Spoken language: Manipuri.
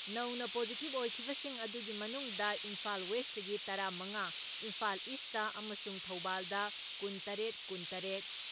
ꯅꯧꯅ ꯄꯣꯖꯤꯇꯤꯞ ꯑꯣꯏꯈꯤꯕꯁꯤꯡ ꯑꯗꯨꯒꯤ ꯃꯅꯨꯡꯗ ꯏꯝꯐꯥꯜ ꯋꯦꯁꯇꯒꯤ ꯇꯔꯥ ꯃꯉꯥ, ꯏꯝꯐꯥꯜ ꯏꯁꯇ ꯑꯃꯁꯨꯡ ꯊꯧꯕꯥꯜꯗ ꯀꯨꯟ ꯇꯔꯦꯠ ꯀꯨꯟ ꯇꯔꯦꯠ,